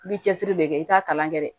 I bɛ cɛsiri de kɛ i t'a kalan kɛ dɛ